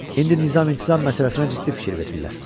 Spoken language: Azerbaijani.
İndi nizam-intizam məsələsinə ciddi fikir verirlər.